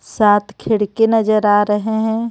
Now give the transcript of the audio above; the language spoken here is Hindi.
सात खिड़की नजर आ रहे हैं.